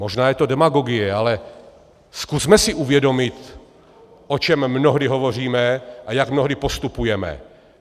Možná je to demagogie, ale zkusme si uvědomit, o čem mnohdy hovoříme a jak mnohdy postupujeme.